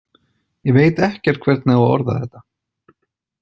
Ég veit ekkert hvernig á að orða þetta.